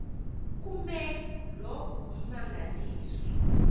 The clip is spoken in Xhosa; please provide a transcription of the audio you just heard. kume loo mmangaliso